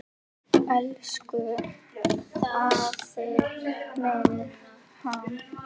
Elsku afi minn, Hannes.